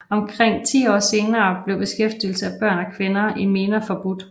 Omkring ti år senere blev beskæftigelse af børn og kvinder i miner forbudt